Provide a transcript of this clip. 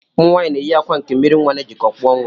Ụmụnwaanyị na-eyi akwa nke mmiri nnwa na-ejikọ, kpụọ nnwa